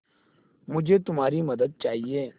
मुझे तुम्हारी मदद चाहिये